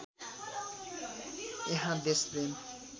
त्यहाँ देशप्रेम